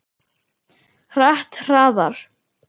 Hratt, hraðar.